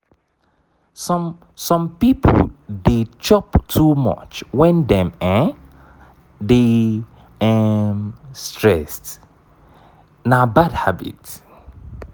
some some people dey chop too much when dem um dey um stressed na bad habit